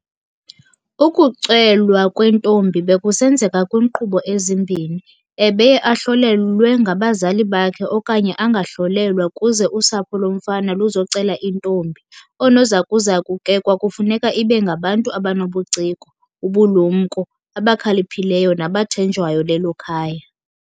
Ukucelwa kwentombi bekusenzeka kwinkqubo ezimbini, ebeye ahlolelwe ngabazali bakhe okanye angahlolelwa kuze usapho lomfana luzocela intombi. Oonozakuzaku ke kwakufuneka ibe ngabantu abanobuciko, ubulumnko, abakhaliphileyo nabathenjwayo lelo khaya.